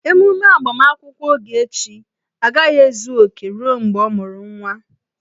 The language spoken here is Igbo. Emume agbamakwụkwọ Ogechi agaghị ezu oke ruo mgbe ọ mụru nwa